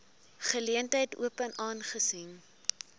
geleentheid open aangesien